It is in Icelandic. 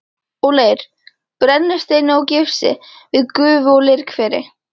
og leir, brennisteini og gifsi við gufu- og leirhveri.